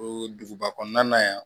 O duguba kɔnɔna yan